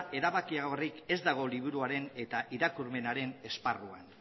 erabakigarriagorik ez dago liburuaren eta irakurmenaren esparruan